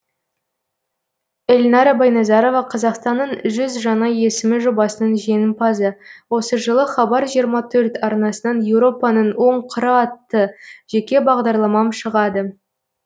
эльнара байназарова қазақстанның жүз жаңа есімі жобасының жеңімпазы осы жылы хабар жиырма төрт арнасынан еуропаның он қыры атты жеке бағдарламам шығады